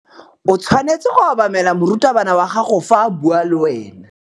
O tshwanetse go obamela morutabana wa gago fa a bua le wena.